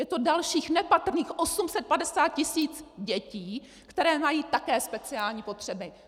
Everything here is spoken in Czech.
Je to dalších nepatrných 850 tisíc dětí, které mají také speciální potřeby.